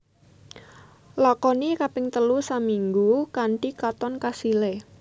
Lakoni kaping telu saminggu kanthi katon kasilé